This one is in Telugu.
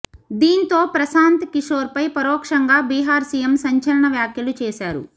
దీంతో ప్రశాంత్ కిశోర్పై పరోక్షంగా బిహార్ సీఎం సంచలన వ్యాఖ్యలు చేశారు